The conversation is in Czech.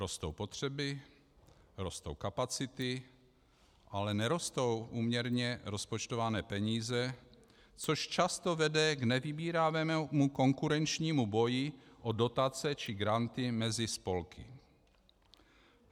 Rostou potřeby, rostou kapacity, ale nerostou úměrně rozpočtované peníze, což často vede k nevybíravému konkurenčnímu boji o dotace či granty mezi spolky.